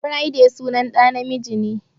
Friday sunan ɗa na miji ne.